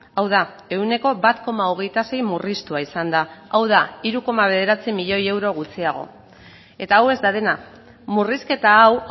hau da ehuneko bat koma hogeita sei murriztua izan da hau da hiru koma bederatzi milioi euro gutxiago eta hau ez da dena murrizketa hau